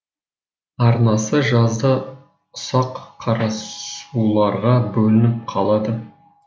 арнасы жазда ұсақ қарасуларға бөлініп қалады